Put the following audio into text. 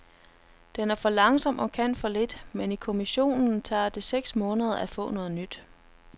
Den er for langsom og kan for lidt, men i kommissionen tager det seks måneder at få noget nyt.